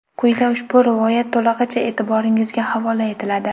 Quyida ushbu rivoyat to‘lig‘igicha e’tiboringizga havola etiladi.